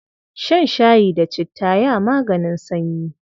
Shan shayi da citta ya maganin sanyi.